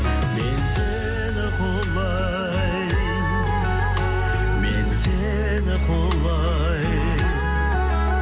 мен сені құлай мен сені құлай